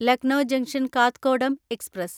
Lucknow junction Kathgodam express